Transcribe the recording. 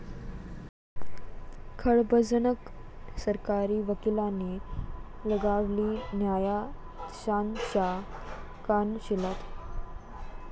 खळबळजनक... सरकारी वकिलाने लगावली न्यायाधीशांच्या कानशिलात